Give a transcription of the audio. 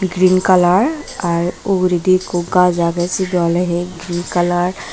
green kalar ar uguredi ikko gaaj agey sibey oley he green kalar.